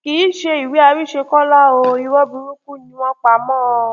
kì í ṣe ìwé àrísẹkọlá o irọ burúkú ni wọn pa mọ ọn